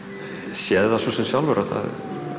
séð sjálfur að það